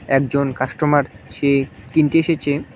একজন কাস্টমার সে কিনতে এসেছে।